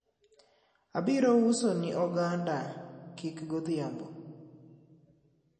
abiro usoni oganda kik godhiambo